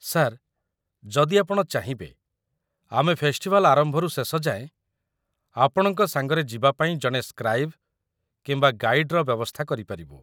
Sir, ଯଦି ଆପଣ ଚାହିଁବେ, ଆମେ ଫେଷ୍ଟିଭାଲ୍ ଆରମ୍ଭରୁ ଶେଷ ଯାଏଁ ଆପଣଙ୍କ ସାଙ୍ଗରେ ଯିବା ପାଇଁ ଜଣେ ସ୍କ୍ରାଇବ୍ କିମ୍ବା ଗାଇଡ୍‌ର ବ୍ୟବସ୍ଥା କରିପାରିବୁ ।